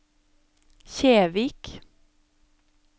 Kjevik